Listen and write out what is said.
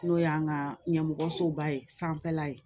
N'o y'an ka ɲɛmɔgɔsoba ye sanfɛla ye